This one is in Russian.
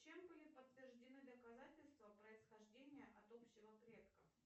чем были подтверждены доказательства происхождения от общего предка